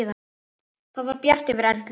Það var bjart yfir Erlu.